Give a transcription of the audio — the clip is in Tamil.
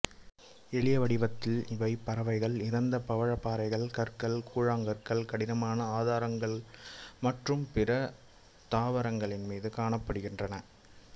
எளிய வடிவத்தில் இவை பாறைகள் இறந்த பவழப்பாறைகள் கற்கள் கூழாங்கற்கள் கடினமான ஆதாரத்தளங்கள் மற்றும் பிற தாவரங்களின் மீது காணப்படுகின்றன